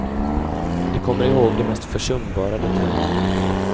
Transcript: De kommer ihåg de mest försumbara detaljer.